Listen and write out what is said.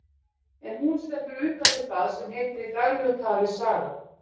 En hún stendur utan við það sem heitir í daglegu tali saga.